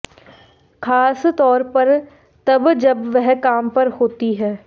खासतौर पर तब जब वह काम पर होती हैं